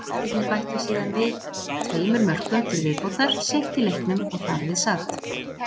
Gestirnir bættu síðan við tveimur mörkum til viðbótar seint í leiknum og þar við sat.